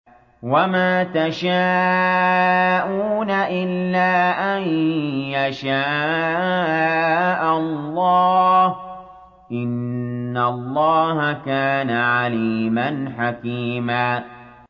وَمَا تَشَاءُونَ إِلَّا أَن يَشَاءَ اللَّهُ ۚ إِنَّ اللَّهَ كَانَ عَلِيمًا حَكِيمًا